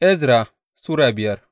Ezra Sura biyar